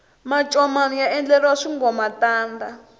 mancomani ya endleriwa swingomantanda